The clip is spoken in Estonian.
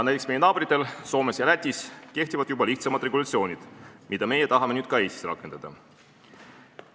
Näiteks, meie naabritel Soomes ja Lätis kehtivad juba lihtsamad regulatsioonid, mida meie tahame nüüd ka Eestis rakendada.